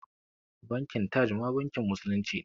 Bankin Taj ma bankin musulunci ne